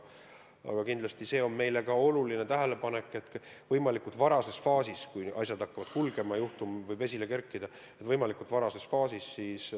Aga kindlasti see on meile ka oluline tähelepanek, et kui asjad hakkavad kulgema, siis tuleb võimalikult varases faasis hakata tegutsema.